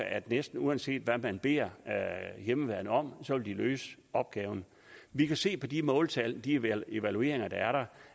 at næsten uanset hvad man beder hjemmeværnet om så vil de løse opgaven vi kan se på de måltal og de evalueringer der er